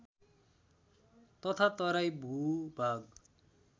तथा तराई भूभाग